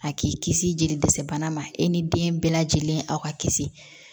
A k'i kisi jeli dɛsɛ bana ma e ni den bɛɛ lajɛlen aw ka kisi